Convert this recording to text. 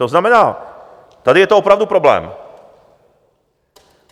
To znamená, tady je to opravdu problém.